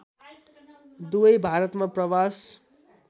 दुवै भारतमा प्रवास